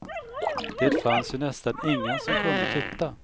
Det fanns ju nästan ingen som kunde titta.